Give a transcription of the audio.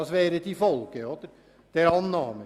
Das wäre die Folge einer Annahme.